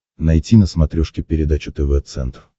найти на смотрешке передачу тв центр